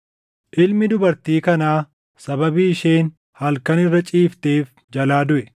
“Ilmi dubartii kanaa sababii isheen halkan irra ciifteef jalaa duʼe.